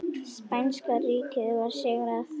Spænska ríkið var sigrað.